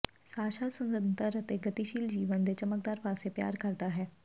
Sasha ਸੁਤੰਤਰ ਅਤੇ ਗਤੀਸ਼ੀਲ ਜੀਵਨ ਦੇ ਚਮਕਦਾਰ ਪਾਸੇ ਪਿਆਰ ਕਰਦਾ ਹੈ